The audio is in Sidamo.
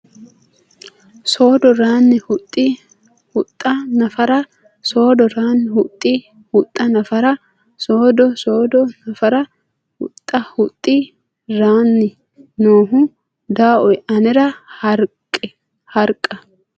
Soodo ranni huxxi huxxa nafara Soodo ranni huxxi huxxa nafara Soodo Soodo nafara huxxa huxxi ranni noohu Dawoe anera Harqa !